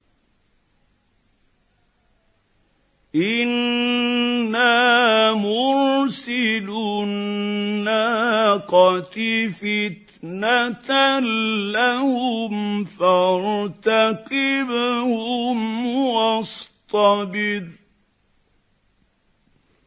إِنَّا مُرْسِلُو النَّاقَةِ فِتْنَةً لَّهُمْ فَارْتَقِبْهُمْ وَاصْطَبِرْ